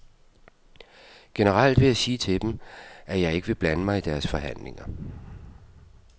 Generelt vil jeg sige til dem, at jeg vil ikke blande mig i deres forhandlinger.